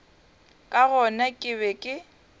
ka gona ke be ke